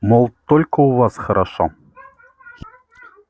мол только у вас хорошо